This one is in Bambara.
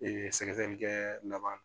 Ee sɛgɛsɛgɛlikɛ laban